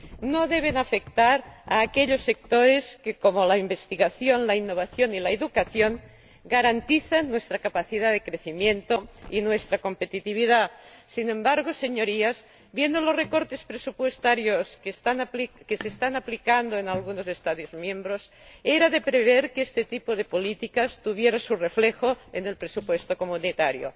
no deben afectar a aquellos sectores que, como la investigación, la innovación y la educación, garantizan nuestra capacidad de crecimiento y nuestra competitividad. Sin embargo, Señorías, viendo los recortes presupuestarios que se están aplicando en algunos Estados miembros, era de prever que este tipo de políticas tuviera su reflejo en el presupuesto comunitario.